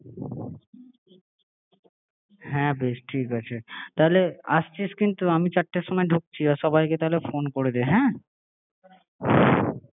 হ্যাঁ করে নেবো ঠিক আছে? হ্যাঁ বেশ ঠিক আছে তাহলে আসছিস কিন্তু আমি চারটের ঢুকছি আর সবাই কে তাহলে ফোন করে দে হ্যাঁ আচ্ছা বেশ